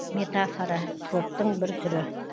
метафора троптың бір түрі